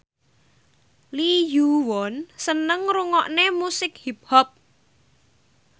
Lee Yo Won seneng ngrungokne musik hip hop